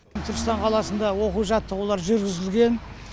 түркістан қаласында оқу жаттығулар жүргізілген